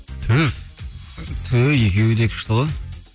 түф түү екеуі де күшті ғой